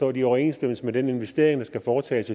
er de i overensstemmelse med den investering der skal foretages